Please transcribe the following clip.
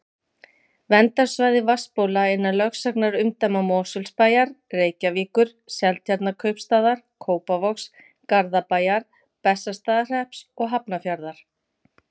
Verndarsvæði vatnsbóla innan lögsagnarumdæma Mosfellsbæjar, Reykjavíkur, Seltjarnarneskaupstaðar, Kópavogs, Garðabæjar, Bessastaðahrepps og Hafnarfjarðar.